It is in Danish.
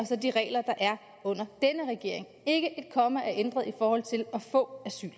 til de regler der er under denne regering ikke et komma er ændret i forhold til at få asyl